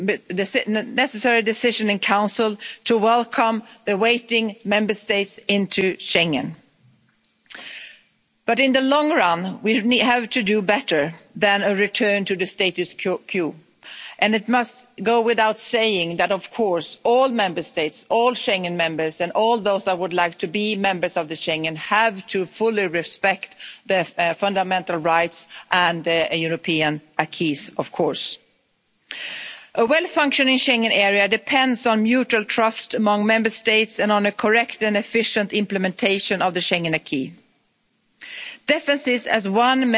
to see the necessary decision in Council to welcome the waiting Member States into Schengen, but in the long run, we have to do better than a return to the status quo And it must go without saying that, of course, all Member States, all Schengen members and all those that would like to be members of Schengen have to fully respect their fundamental rights and the European acquis of course. A well functioning Schengen area depends on mutual trust among Member States and on a correct and efficient implementation of the Schengen acquis. Differences